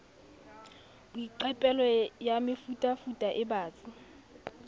boiqapelo ya mefutafuta e batsi